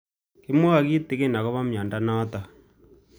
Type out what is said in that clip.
Kimwae kitig'in akopo miondo notok